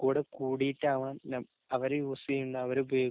കൂടെ കൂടിയിട്ടാവാന്‍ അവര് യൂസ് ചെയ്യുന്ന, അവരുപയോഗിക്കുന്ന